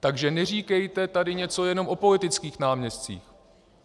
Takže neříkejte tady něco jenom o politických náměstcích.